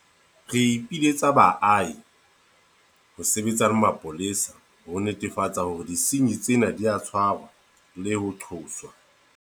Re ipiletsa ho baahi ho sebetsa le mapolesa ho netefatsa hore disenyi tsena di a tshwarwa le ho qoswa.